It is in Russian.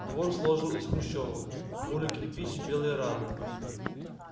двор сложен из хрущёвок бурый кирпич белые рамы